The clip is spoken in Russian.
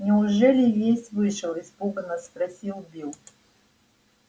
неужели весь вышел испуганно спросил билл